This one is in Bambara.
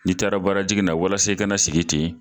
N'i taara baara jigin na ,walasa i ka na sigi ten